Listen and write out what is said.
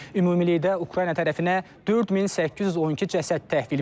Ümumilikdə Ukrayna tərəfinə 4812 cəsəd təhvil verilib.